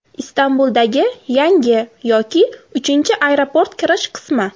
Istanbuldagi yangi yoki uchinchi aeroport kirish qismi.